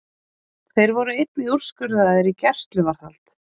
Þeir voru einnig úrskurðaðir í gæsluvarðhald